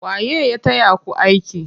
Waye ya taya ku aiki?